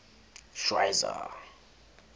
schweizer